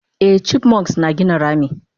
Eh chipmunks na gina rami